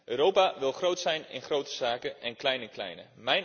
Europa wil groot zijn in grote zaken en klein in kleine.